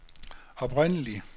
oprindelig